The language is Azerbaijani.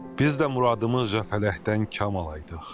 Biz də muradımızca fələkdən kam alaydıq.